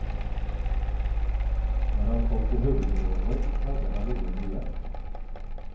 När han kom till huvudingången hade han ingen biljett.